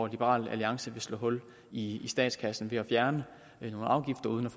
liberal alliance vil slå hul i statskassen nemlig ved at fjerne nogle afgifter uden